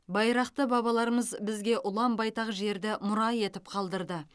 байрақты бабаларымыз бізге ұлан байтақ жерді мұра етіп қалдырды